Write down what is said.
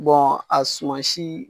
a sumansi.